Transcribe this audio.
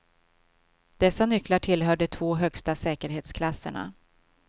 Dessa nycklar tillhör de två högsta säkerhetsklasserna.